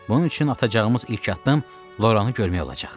Bunun üçün atacağımız ilk addım Loranı görmək olacaq.